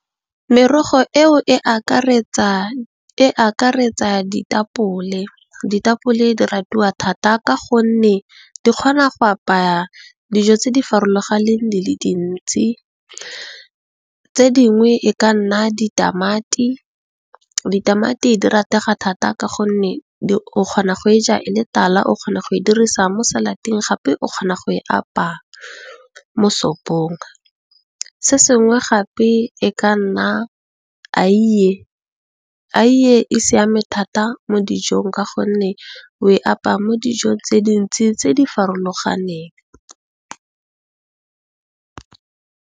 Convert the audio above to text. Merogo eo e akaretsa ditapole, ditapole di ratwa thata ka gonne, di kgona go apaya dijo tse di farologaneng di le dintsi. Tse dingwe e ka nna ditamati, ditamati di ratega thata ka gonne, o kgona go e ja e le tala, o kgona go e dirisa mo salateng, gape o kgona go e apaya mo sopong. Se sengwe gape e ka nna eie, eie e siame thata mo dijong ka gonne o e apaya mo dijong tse dintsi tse di farologaneng.